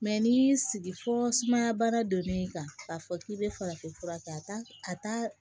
n'i y'i sigi fɔ sumaya baara donni kan k'a fɔ k'i bɛ farafin fura kɛ a t'a a t'a